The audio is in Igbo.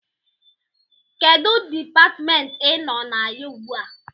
Kedụ Dipatmentị ị nọ na ya ugbu a?